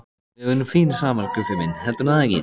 Við verðum fínir saman, Guffi minn, heldurðu það ekki?